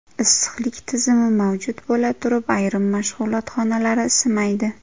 Issiqlik tizimi mavjud bo‘la turib, ayrim mashg‘ulot xonalari isimaydi.